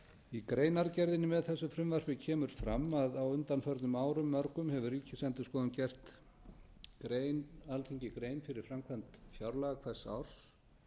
í greinargerð með þessu frumvarpi kemur fram að á undanförnum árum mörgum hefur ríkisendurskoðun gert alþingi grein fyrir framkvæmd fjárlaga hvers árs